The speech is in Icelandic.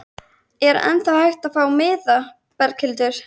Er ennþá hægt að fá miða, Berghildur?